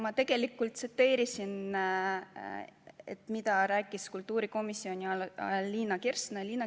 Ma tegelikult tsiteerisin, mida rääkis kultuurikomisjonis Liina Kersna.